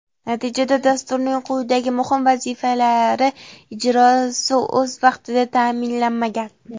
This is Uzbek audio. Natijada Dasturning quyidagi muhim vazifalari ijrosi o‘z vaqtida ta’minlanmagan:.